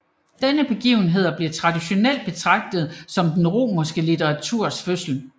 Denne begivenhed bliver traditionelt betragtet som den romerske litteraturs fødsel